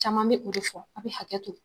Caman bɛ o de fɔ aw bɛ hakɛ to.